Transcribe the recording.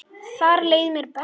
Þar leið mér best.